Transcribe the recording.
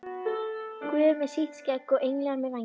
Guð með sítt skegg og englar með vængi?